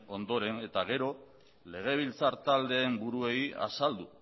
ondoren eta gero legebiltzar taldeen buruei azaldu